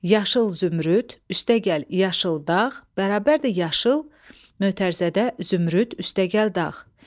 Yaşıl zümrüd + yaşıl dağ = yaşıl (zümrüd + dağ).